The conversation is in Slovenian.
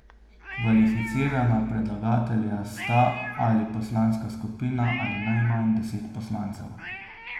Kvalificirana predlagatelja sta ali poslanska skupina ali najmanj deset poslancev.